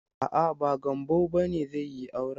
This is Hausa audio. A'a, ba Gambo bane zai yi aure.